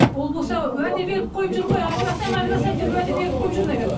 ол болса уәде беріп қойып жүр ғой ажырасамын ажырасамын деп уәде беріп қойып жүр наверное